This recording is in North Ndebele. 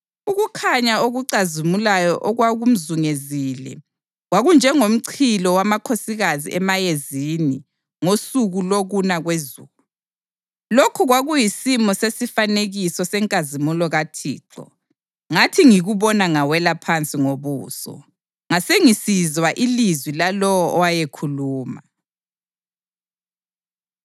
Ukukhanya okucazimulayo okwakumzungezile kwakunjengomchilo wamakhosikazi emayezini ngosuku lokuna kwezulu. Lokhu kwakuyisimo sesifanekiso senkazimulo kaThixo. Ngathi ngikubona ngawela phansi ngobuso, ngasengisizwa ilizwi lalowo owayekhuluma.